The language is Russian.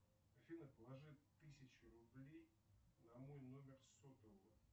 афина положи тысячу рублей на мой номер сотового